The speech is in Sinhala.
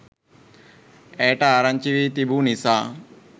ඇයට ආරංචි වී තිබු නිසා